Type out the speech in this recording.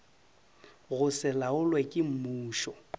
go se laolwe ke mmušo